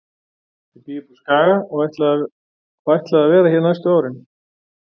Ég bý uppi á Skaga og ætlaði að vera hér næstu árin.